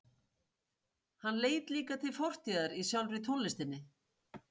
Hann leit líka til fortíðar í sjálfri tónlistinni.